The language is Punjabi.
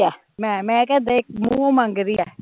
ਮੈਂ ਕਿਹਾ ਦੇਖ ਮੁਹੋਂ ਮੰਗ ਰਹੀ ਐ